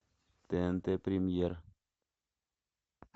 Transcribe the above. тнт премьер